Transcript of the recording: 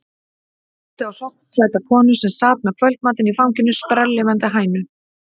Góndi á svartklædda konu sem sat með kvöldmatinn í fanginu, sprelllifandi hænu.